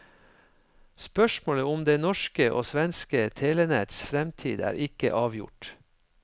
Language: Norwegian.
Spørsmålet om det norske og svenske telenetts fremtid er ikke avgjort.